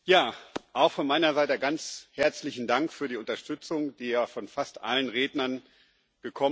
Auch von meiner Seite ganz herzlichen Dank für die Unterstützung, die ja von fast allen Rednern gekommen ist.